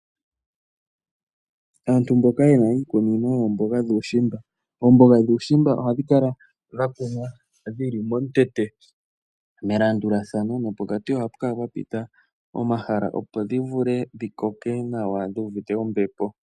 Aantu mboka yena iikunino yoomboga dhuushimba. Omboga dhuushimba ohadhi kala dha kunwa momutete, melandulathano nopokati ohapu kala pwa pita omahala, opo dhi vule dhi koke nawa dhuvite ombepo.